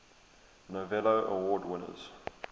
novello award winners